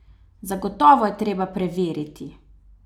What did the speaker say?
Zagotovo je treba preveriti?